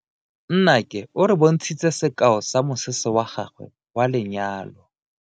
Nnake o re bontshitse sekao sa mosese wa gagwe wa lenyalo.